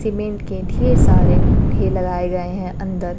Cement के ढेर सारे ढेर लगाए गए हैं अंदर।